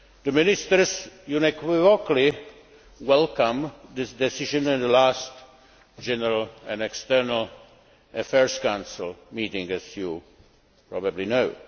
Ministers unequivocally welcomed this decision at the last General and External Affairs Council meeting, as you probably know.